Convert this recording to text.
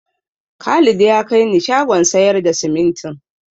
Khalid ya kai ni shagon sayar da simintin.